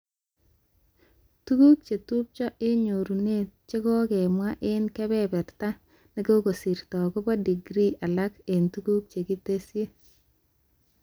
Tuguk chetubcho eng nyorunet chekokemwa eng kebeberta nekokosirto akobo degree alak eng tuguk chekitesyi